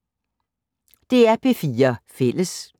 DR P4 Fælles